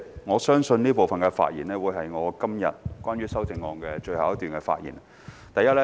我相信這部分發言將會是我今天關於修正案的最後一段發言。